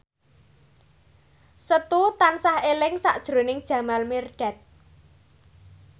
Setu tansah eling sakjroning Jamal Mirdad